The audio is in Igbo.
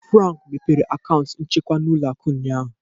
Frank meghere akaụntụ nchekwa n'ụlọ akụ ụnyaahụ.